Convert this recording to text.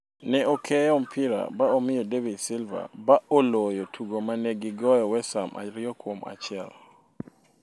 Neokeyo mpira ba omiyo David Silva ba oloyo tugo ma ne gigoyo West Ham ariyo kuom achiel